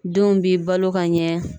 Denw b'i balo ka ɲɛ.